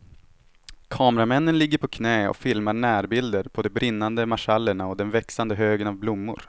Kameramännen ligger på knä och filmar närbilder på de brinnande marschallerna och den växande högen av blommor.